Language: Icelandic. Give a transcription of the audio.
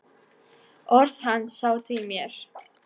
Orð hans sátu í mér.